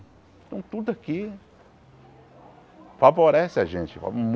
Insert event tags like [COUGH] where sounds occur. Então tudo aqui favorece a gente. [UNINTELLIGIBLE]